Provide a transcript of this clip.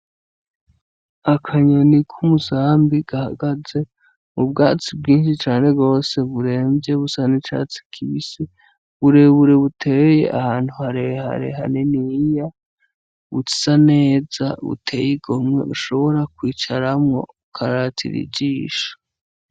Akanyoni k'umusambi gahagaze, ubwatsi bwinshi cane gose buremvye busa n'icatsi kibisi, burebure buteye ahantu harehare haniniya, busa neza buteye igomwe, ushobora kwicaramwo ukaratira ijisho.